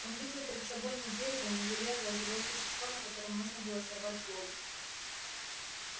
он видел перед собой не дерево не железо а живое существо на котором можно было сорвать злобу